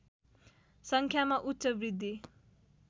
सङ्ख्यामा उच्च वृद्धि